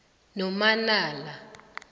nomanala